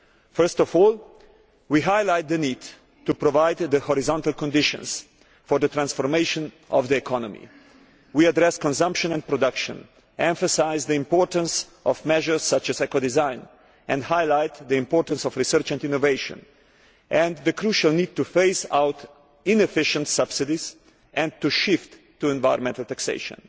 First of all, we highlight the need to provide the horizontal conditions for transformation of the economy. We address consumption and production, emphasise the importance of measures such as eco design, and highlight the importance of research and innovation, and the crucial need to phase out inefficient subsidies and shift to environmental taxation.